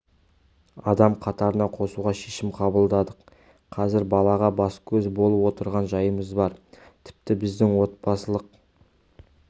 адам қатарына қосуға шешім қабылдадық қазір балаға бас-көз болып отырған жайымыз бар тіпті біздің отбасылық